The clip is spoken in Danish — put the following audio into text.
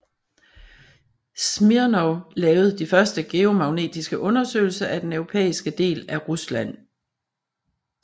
Smirnov lavede de første geomagnetiske undersøgelser af den europæiske del af Rusland